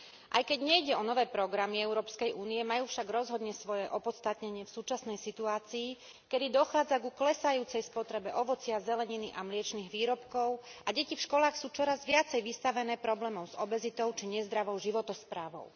Aj keď nejde o nové programy Európskej únie, majú však rozhodne svoje opodstatnenie v súčasnej situácii, keď dochádza ku klesajúcej spotrebe ovocia, zeleniny a mliečnych výrobkov, a deti v školách sú čoraz viacej vystavené problémom s obezitou či nezdravou životosprávou.